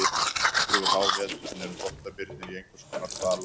Yfir háveturinn eru þvottabirnir í einhvers konar dvala.